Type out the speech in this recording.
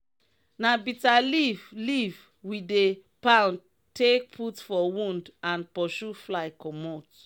na bitta leaf leaf we dey pound take put for wound and pursue fly commot.